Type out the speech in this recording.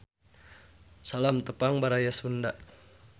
Salam Tepang Baraya Sunda.